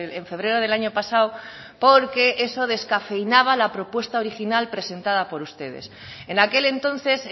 en febrero del año pasado porque eso descafeinaba la propuesta original presentada por ustedes en aquel entonces